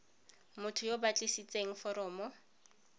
motho yo o tlisitseng foromo